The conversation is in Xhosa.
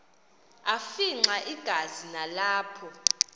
afimxa igazi nalapho